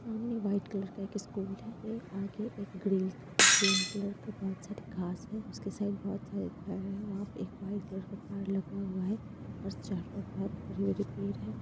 सामने white colour का एक स्कूल है | एक आगे एक ग्रिल ग्रीन कलर का बहुत सारे घास है उसके साइड बहुत सारे घर है वहाँ पर एक व्हाइट कलर का कार लगा हुआ है और चारों तरफ हरे-हरे पेड़ हैं ।